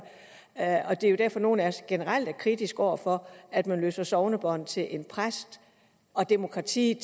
er jo derfor at nogle af os generelt er kritiske over for at man løser sognebånd til en præst og at demokratiet